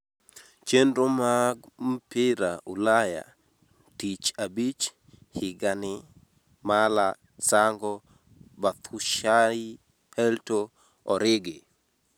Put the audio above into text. chenro mag mpira ulayantich abich:Higain, mala, sango, bathushayi, helto, origi